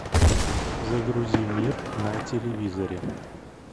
загрузи мир на телевизоре